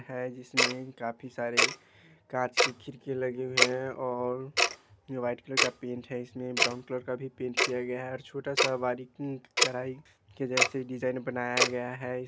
है जिसमें काफी सारे कांच की खिड़कियाँ लगी हुई है और ये वाइट कलर का पेंट है इसमें ब्राउन कलर का भी पेंट किया गया है और छोटा सा बारीकी के जैसे डिज़ाइन बनाया गया है।